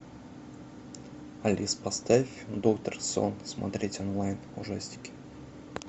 алис поставь доктор сон смотреть онлайн ужастики